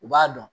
U b'a dɔn